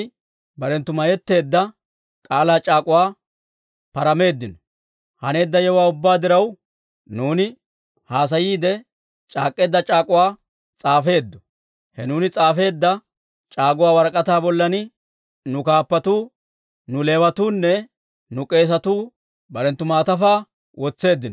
Haneedda yewuwaa ubbaa diraw, nuuni haasayiide c'aak'k'eedda c'aak'uwaa s'aafeeddo; he nuuni s'aafeedda c'aak'uwa warak'ataa bollan nu kaappatuu, nu Leewatuunne nu k'eesatuu barenttu maatafaa wotseeddino.